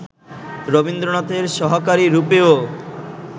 রবীন্দ্রনাথের সহকারী রূপেও